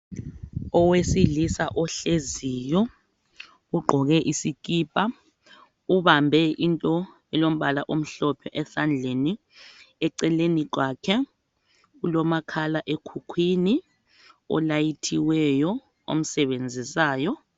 owesilisa ohleziyo ugqoke isikipa ubambe into elombala omhlophe esandleni eceleni kwakhe ulomakhala ekhukwini olayithiweyo omsebenzisayo